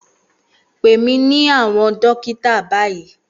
Pè mí ní àwọn dókítà báyìí